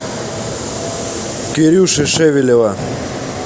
кирюши шевелева